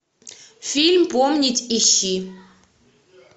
фильм помнить ищи